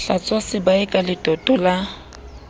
hlwatswa sebae ka letoto la